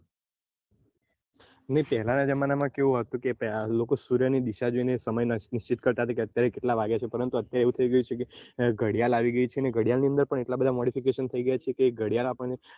ને પેહલાં ના જમાના માં કેવું હતું કે પેહ~લોકો સૂર્ય ની દિશા જોઈ ને સમય નક્કી કરતા કે અત્યારે કેટલા વાગ્યા છે પરંતુ અત્યારે એવું થઇ ગયું છે ઘડિયાળ આવી ગઈ છે ને ઘડિયાળ ની અંદર પણ એટલા બધા modification થઇ ગયા છે કે ઘડિયાળ આપણને